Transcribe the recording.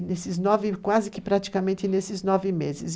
E nesses nove, quase que praticamente nesses nove meses.